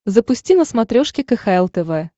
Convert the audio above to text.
запусти на смотрешке кхл тв